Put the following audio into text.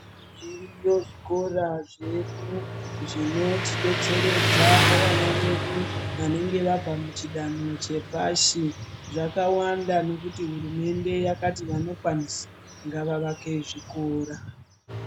Zviriyo zvikora zvedu zvinotidetseredza pavana vedu vanenge vabva muchidanho chepashi zvakawanda nekuti hurumende yakati vanokwanisa ngava vake zvikora.